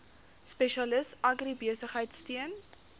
spesialis agribesigheid steun